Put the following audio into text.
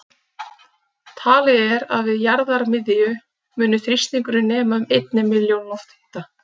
Talið er að við jarðarmiðju muni þrýstingurinn nema um einni milljón loftþyngda.